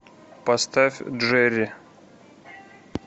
поставь джерри